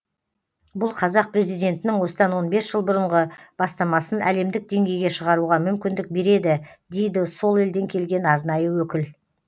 бұл қазақ президентінің осыдан жыл бұрынғы бастамасын әлемдік деңгейге шығаруға мүмкіндік береді дейді сол елден келген арнайы өкіл